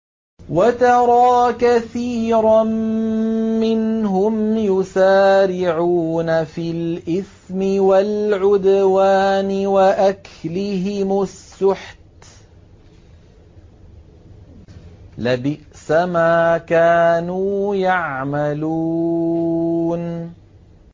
وَتَرَىٰ كَثِيرًا مِّنْهُمْ يُسَارِعُونَ فِي الْإِثْمِ وَالْعُدْوَانِ وَأَكْلِهِمُ السُّحْتَ ۚ لَبِئْسَ مَا كَانُوا يَعْمَلُونَ